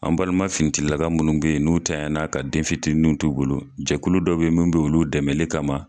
An balima finitigilaka minnu bɛ yen n'u tanyala ka denfitinin t'u bolo, jɛkulu dɔ bɛ yen minnu bɛ olu dɛmɛli kama.